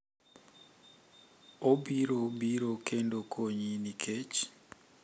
Obiro biro kendo konyi nikech,